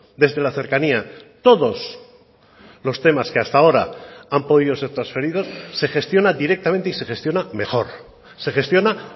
desde la cercanía todos los temas que hasta ahora han podido ser transferidos se gestiona directamente y se gestiona mejor se gestiona